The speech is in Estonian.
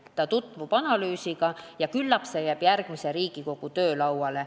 Ta tutvub analüüsiga ja küllap see jääb järgmise Riigikogu töölauale.